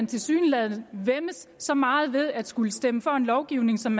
tilsyneladende væmmes så meget ved at skulle stemme for en lovgivning som